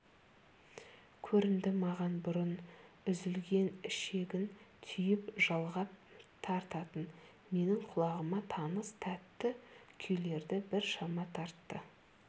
көрінді маған бұрын үзілген ішегін түйіп жалғап тартатын менің құлағыма таныс тәтті күйлерді біршама тартты